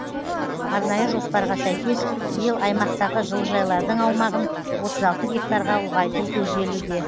арнайы жоспарға сәйкес биыл аймақтағы жылыжайлардың аумағын отыз алты гектарға ұлғайту көзделуде